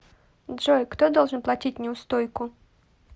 джой кто должен платить неустойку